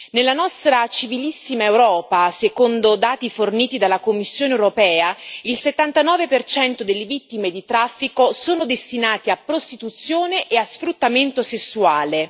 Nella nostra civilissima Europa, secondo dati forniti dalla Commissione europea, il 79 delle vittime di traffico sono destinate a prostituzione e a sfruttamento sessuale.